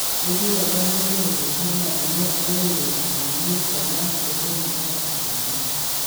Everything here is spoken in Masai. ketii oltungani lotupurishe naa ninye ayeuo alimu tena steshen osikari